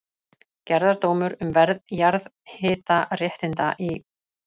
Gerðardómur um verð jarðhitaréttinda í